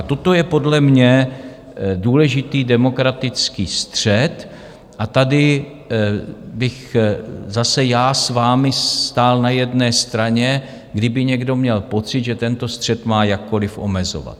A toto je podle mě důležitý demokratický střet a tady bych zase já s vámi stál na jedné straně, kdyby někdo měl pocit, že tento střet má jakkoliv omezovat.